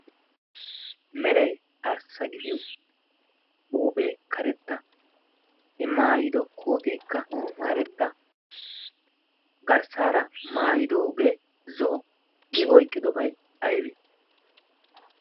Meray arssa gidiyo huuphphee karetta gidioy i maayido kooteekka karetta garssaara maayidooge zo'o. I oyqqidobay aybe?